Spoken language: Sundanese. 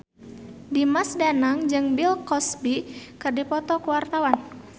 Dimas Danang jeung Bill Cosby keur dipoto ku wartawan